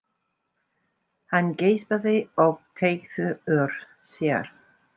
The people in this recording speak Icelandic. Hann geispaði og teygði úr sér.